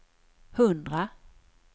hundra